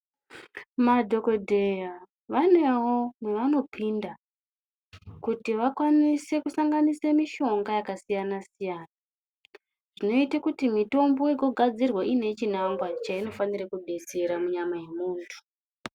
Madhokodheya vanewo mwevanopinda kuti vakwanise kusanganise mishonga yakasiyana siyana zvinoite kuti mitombo igogadzirwa iine chinangwa cheinofanire kubetsera munyama yemuntu.